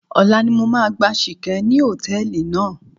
Ọ̀la ni mo máa gbá Ṣìkẹ́ ní hòtẹ́ẹ̀lì náà.